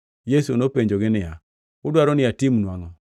Yesu nopenjogi niya, “Udwaro ni atimnu angʼo?”